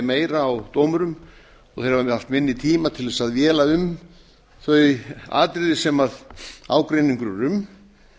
meira á dómurum og þeir hafi haft minni tíma til að véla um þau atriði sem ágreiningur er um